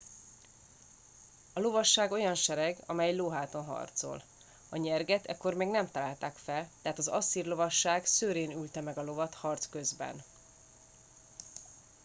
a lovasság olyan sereg amely lóháton harcol a nyerget ekkor még nem találták fel tehát az asszír lovasság szőrén ülte meg a lovat harc közben